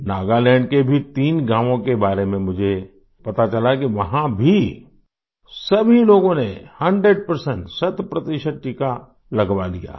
नागालैंड के भी तीन गाँवों के बारे में मुझे पता चला कि वहाँ भी सभी लोगों ने 100 शत प्रतिशत टीका लगवा लिया है